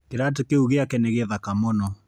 Kĩratũ kĩu gĩake nĩ gĩthaka mũno.